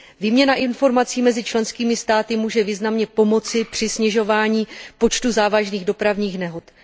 Výměna informací mezi členskými státy může významně pomoci při snižování počtu závažných dopravních nehod.